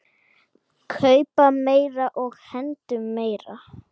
Kaupa meira og hendum meiru.